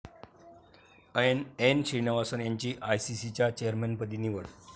एन.श्रीनिवासन यांची आयसीसीच्या चेअरमनपदी निवड